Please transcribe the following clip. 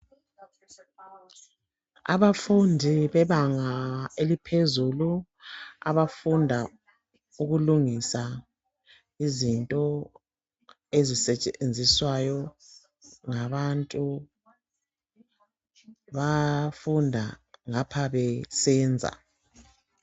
Abafundi bebanga eliphezulu, abafunda ukulungisa izinto ezisetshenziswayo ngabantu. Bafunda ngapha besenza.